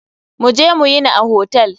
Mu je mu yini a hotel.